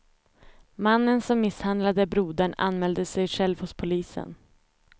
Mannen som misshandlade brodern anmälde sig själv hos polisen.